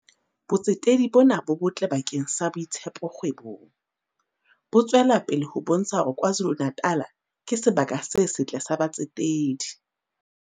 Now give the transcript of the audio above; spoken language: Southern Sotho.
Botsetedi bona bo botle bakeng sa boitshepo kgwebong. Bo tswelapele ho bontsha hore KwaZulu-Natal ke sebaka se setle sa batsetedi.